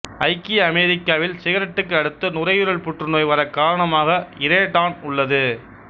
ஐக்கிய அமெரிக்காவில் சிகரெட்டுக்கு அடுத்து நுரையீரல் புற்றுநோய் வரக் காரணமாக இரேடான் உள்ளது